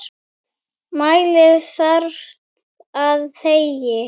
Mæli þarft eða þegi.